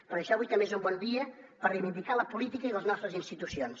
per això avui també és un bon dia per reivindicar la política i les nostres institucions